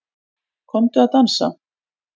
Komdu að dansa